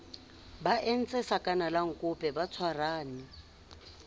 ba entse sakanalankope ba tshwarane